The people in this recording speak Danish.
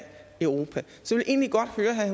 europa så